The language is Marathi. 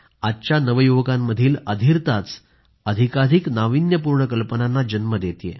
आजच्या नवयुवकांमधील अधीरताच अधिकाधिक नाविन्यपूर्ण कल्पनांना जन्म देतेय